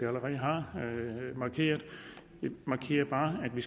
allerede har markeret jeg markerer bare at vi